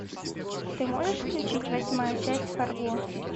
ты можешь включить восьмая часть фарго